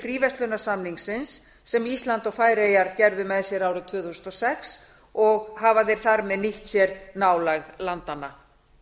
fríverslunarsamningsins sem ísland og færeyjar gerðu með sér árið tvö þúsund og sex og hafa þeir þar með nýtt sér nálægð landanna